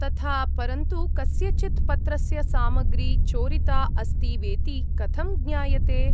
तथा। परन्तु कस्यचित् पत्रस्य सामग्री चोरिता अस्ति वेति कथं ज्ञायते?